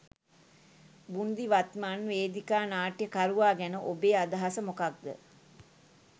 බූන්දි වත්මන් වේදිකා නාට්‍යකරුවා ගැන ඔබේ අදහස මොකක්ද?